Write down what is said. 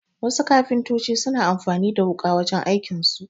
Wasu kafintoci suna amfani da wuƙa wajen aikin su